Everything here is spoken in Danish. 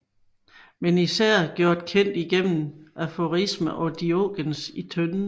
Men især gjort kendt igennem aforismerne om Diogenes i tønden